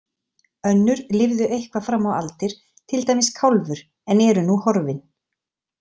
Önnur lifðu eitthvað fram á aldir, til dæmis Kálfur, en eru nú horfin.